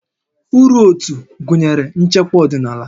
Uru ótú gụnyere ichekwa ọdịnala